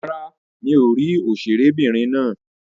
Rárá, mi ò rí òṣèré'bìnrin náà.